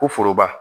Ko foroba